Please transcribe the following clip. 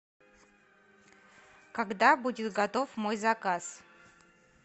когда будет готов мой заказ